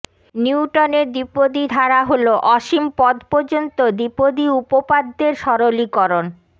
নিউটনের দ্বিপদী ধারা হলো অসীম পদ পর্যন্ত দ্বিপদী উপপাদ্যের সরলীকরণঃ